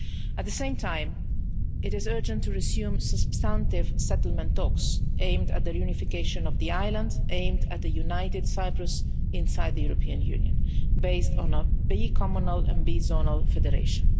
At the same time, it is urgent to resume substantive settlement talks aimed at the reunification of the island and aimed at the united Cyprus inside the European Union, based on a bi communal bi zonal federation.